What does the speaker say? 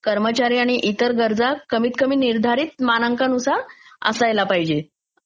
कर्मचारी आणि इतर गरजा कमीतकमी निर्धारीत मानांकानुसार असायला पाहिजेत.